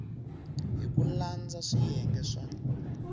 hi ku landza swiyenge swa